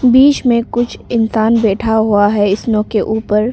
बीच में कुछ इंसान बैठा हुआ है स्नो के ऊपर।